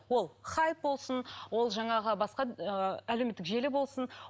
ол хайп болсын ол жаңағы басқа ыыы әлеуметтік желі болсын